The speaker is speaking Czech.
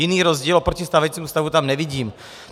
Jiný rozdíl oproti stávajícímu stavu tam nevidím.